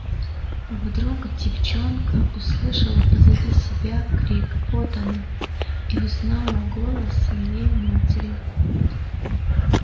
вдруг девочонка услышала позади себя крик вот она и узнала голос своей матери